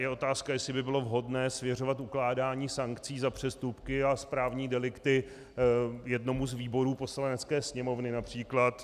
Je otázka, jestli by bylo vhodné svěřovat ukládání sankcí za přestupky a správní delikty jednomu z výborů Poslanecké sněmovny, například.